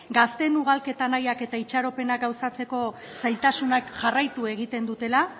gazteen ugalketa nahiak eta itxaropenak gauzatzeko zailtasunak jarraitu egiten dutela